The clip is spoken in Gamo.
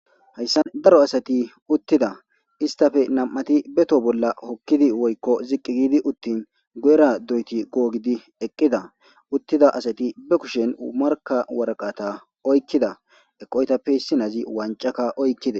hayssan daro asati uttida istafe nam7ati beto bolla hokkidi woykko ziqqi giidi uttin gu7era doyti googidi eqqida uttida asati be kushen marka waraqata oykkida eqoytappe issinazi wancaka oykkide